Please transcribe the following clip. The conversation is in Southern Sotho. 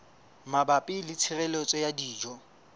mabapi le tshireletso ya dijo